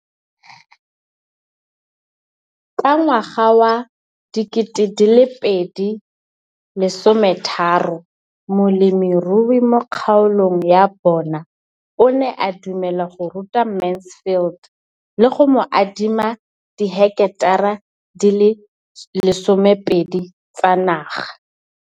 Ka ngwaga wa 2013, molemirui mo kgaolong ya bona o ne a dumela go ruta Mansfield le go mo adima di heketara di le 12 tsa naga.